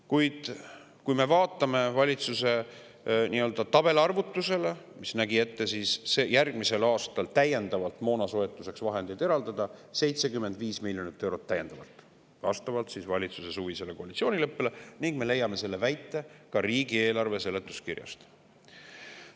Kuid kui me vaatame valitsuse tabelarvutust, siis me näeme, et järgmisel aastal on moonasoetuseks lisavahendeid ette nähtud 75 miljonit eurot, vastavalt valitsuse suvisele koalitsioonileppele, ning me leiame selle väite ka riigieelarve seletuskirjast.